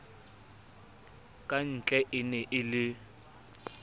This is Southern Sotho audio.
kantle e ne e le